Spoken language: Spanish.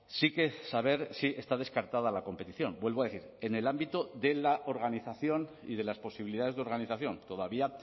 sí que saber si está descartada la competición vuelvo a decir en el ámbito de la organización y de las posibilidades de organización todavía